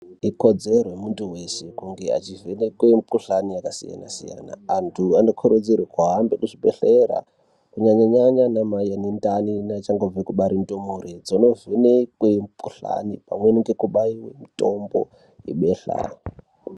Ikodzero yemuntu veshe kuti akarwara anovhenekwa mikuhlani yakasiyana-siyana. Antu anokurudzirwe kuhambe kuzvibhedhlera kunyanya-nyanya anamai anendani neachangobve kubare ndumure dzono vhekwe mukuhlani, pamweni ngekubaive mutombo yebehla.